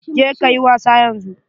Je kayi wasa yanzu.